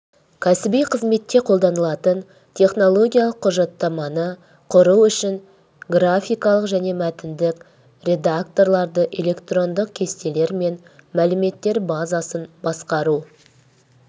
кәсіби қызметте қолданылатын технологиялық құжаттаманы құру үшін графикалық және мәтіндік редакторларды электрондық кестелер мен мәліметтер базасын басқару